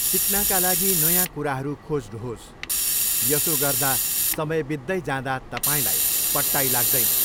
सिक्नाका लागि नयाँ कुराहरू खोज्नुहोस्, यसो गर्दा समय बित्दै जाँदा तपाईँलाई पट्टाइ लाग्दैन।